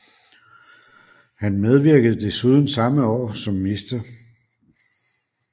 Han medvirkede desuden samme år som Mr